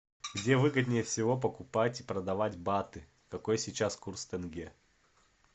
где выгоднее всего покупать и продавать баты какой сейчас курс тенге